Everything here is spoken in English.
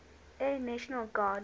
air national guard